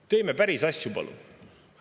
Teeme päris asju, palun!